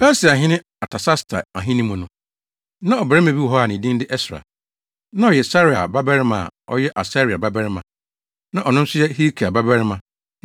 Persiahene Artasasta ahenni mu no, na ɔbarima bi wɔ hɔ a ne din de Ɛsra. Na ɔyɛ Seraia babarima a ɔyɛ Asaria babarima, na ɔno nso yɛ Hilkia babarima